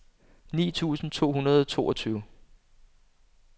ni tusind to hundrede og toogtyve